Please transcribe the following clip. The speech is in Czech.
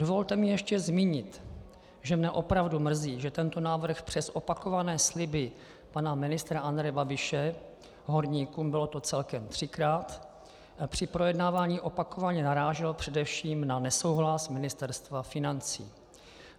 Dovolte mi ještě zmínit, že mě opravdu mrzí, že tento návrh přes opakované sliby pana ministra Andreje Babiše horníkům, bylo to celkem třikrát, při projednávání opakovaně narážel především na nesouhlas Ministerstva financí.